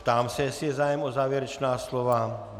Ptám se, jestli je zájem o závěrečná slova.